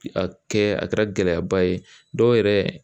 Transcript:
A kɛ a kɛra gɛlɛyaba ye dɔw yɛrɛ